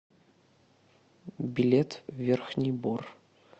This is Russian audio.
билет верхний бор